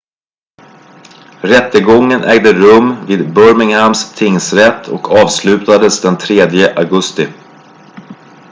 rättegången ägde rum vid birminghams tingsrätt och avslutades den 3 augusti